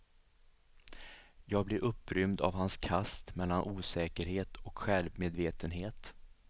Jag blir upprymd av hans kast mellan osäkerhet och självmedvetenhet.